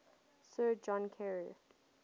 sir john kerr